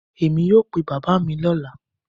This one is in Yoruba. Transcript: Emi yoo pe baba mi ni ọla.